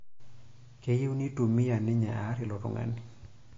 Keyieu neitumia ninye aar ilo tung'ani.